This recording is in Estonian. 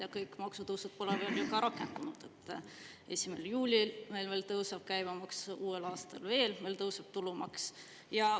Ja kõik maksutõusud pole veel ju rakendunud, 1. juulil tõuseb käibemaks, uuel aastal tõuseb veel tulumaks.